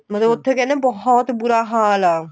ਮਤਲਬ ਉੱਥੇ ਕਹਿੰਦੇ ਬਹੁਤ ਬੁਰਾ ਹਾਲ ਆ